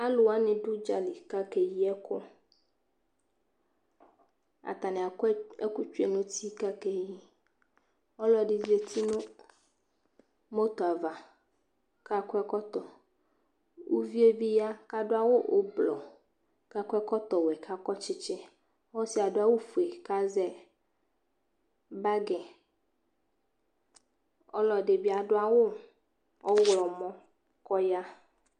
Aluwani dʋ udzali kakeyi ɛkʋ Atani akɔ ɛkʋ tsoe nʋ uti kakeyiAlu ɔlɔdi zati nʋ moto'ava kakɔ ɛkɔtɔUvie bi ya kadʋ awu ublɔKakɔ ɛkɔtɔ wɛ Kakɔ tsitsiƆsiɛ adʋ awu fue kazɛ bagiƆlɔdi bi adʋ awu ɔɣlɔmɔ kɔya